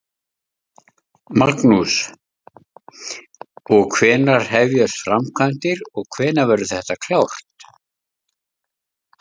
Magnús: Og hvenær hefjast framkvæmdir og hvenær verður þetta klárt?